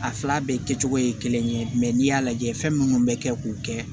A fila bɛɛ kɛcogo ye kelen ye n'i y'a lajɛ fɛn minnu bɛ kɛ k'u kɛ